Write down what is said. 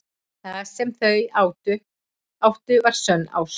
Það sem þau áttu var sönn ást.